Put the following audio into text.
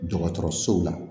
Dɔgɔtɔrɔsow la